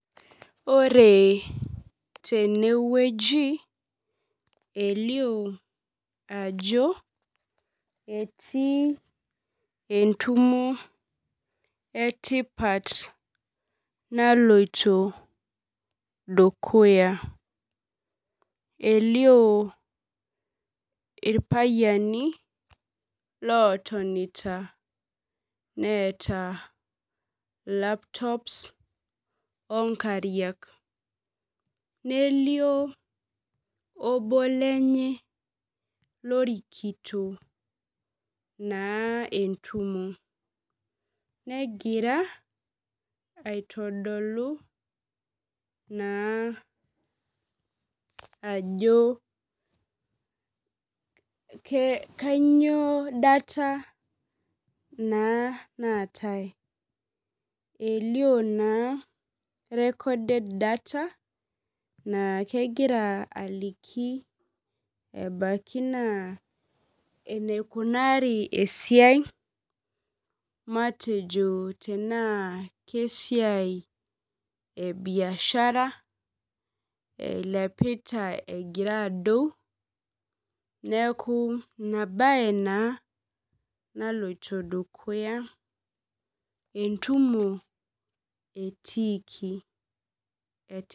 Ore tenewueji elio ajo etii entumo etipat naloito dukuya elio irpayiani lotonita neeta laptops onkariak nelio obo lenye lorikito naa entumo negira aitodolu naa ajo ke kanyio data naa naatae elio naa recorded data naa kegira aliki ebaki naa eneikunari esiai matejo tenaa kesiai e biashara eilepita egira adou neeku ina baye naa naloito dukuya entumo etiiki et.